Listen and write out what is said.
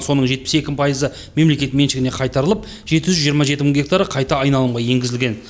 соның жетпіс екі пайызы мемлекет меншігіне қайтарылып жеті жүз жиырма жеті мың гектары қайта айналымға енгізілген